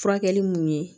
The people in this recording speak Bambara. Furakɛli mun ye